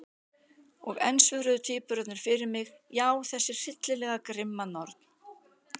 Og enn svöruðu tvíburarnir fyrir mig: Já, þessi hryllilega grimma norn.